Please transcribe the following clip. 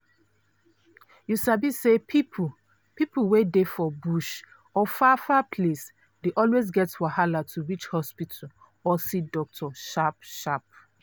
you sabi say people people wey dey for bush or far-far place dey always get wahala to reach hospital or see doctor sharp-sharp.